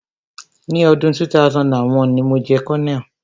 Ni ọdún 2001, ni mo jẹ́ colonel.